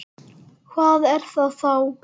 Hvað er það þá?